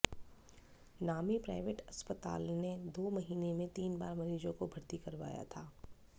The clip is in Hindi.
नामी प्राइवेट अस्पताल ने दो महीने में तीन बार मरीज़ को भर्ती करवाया था